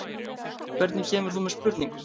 Hvernig kemur þú með spurningu?